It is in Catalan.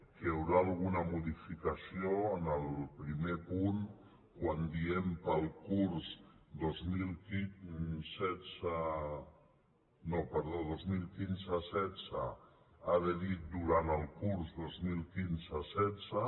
que hi haurà alguna modificació en el primer punt quan diem per al curs dos mil quinze·setze ha de dir durant el curs dos mil quinze·setze